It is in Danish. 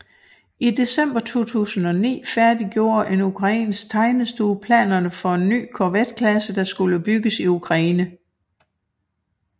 I december 2009 færdiggjorde en ukrainsk tegnestue planerne for en ny korvetklasse der skulle bygges i Ukraine